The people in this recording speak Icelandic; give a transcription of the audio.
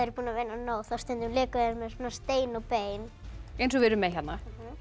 búnir að vinna nóg þá stundum léku þau með stein og bein eins og við erum með hérna